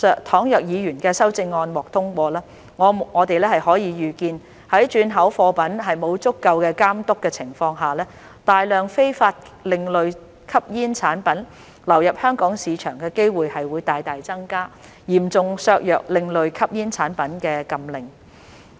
倘若議員的修正案獲通過，我們可以預見在轉口貨品沒有足夠監督的情況下，大量非法另類吸煙產品流入香港市場的機會會大大增加，嚴重削弱另類吸煙產品的禁令。